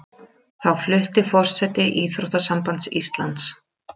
Þá flutti forseti Íþróttasambands Íslands